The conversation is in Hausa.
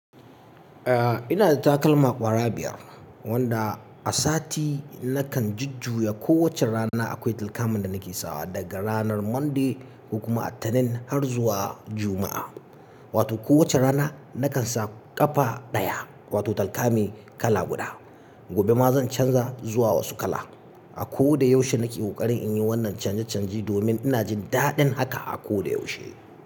Ah, ina da takalma ƙwara biyar, wanda, a sati nakan jujjuya ko wacce rana akwai talkaman da nake sawa, daga ranar Monday, kokuma Litinin har zuwa Juma'a. Wato ko wacce rana, nakan sa ƙafa ɗaya, wato talkami kala guda. Gobe ma zan canza zuwa wasu kala. A ko da yaushe nake ƙoƙarin in yi wannan canje-canje domin ina jin daɗin haka a ko da yaushe,